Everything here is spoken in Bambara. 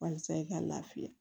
Walasa i ka lafiya